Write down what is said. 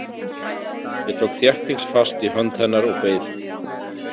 Ég tók þéttingsfast í hönd hennar og beið.